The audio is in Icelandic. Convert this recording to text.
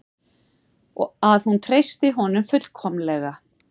Að hún treystir honum fullkomlega.